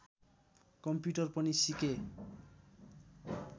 computer पनि सिकेँ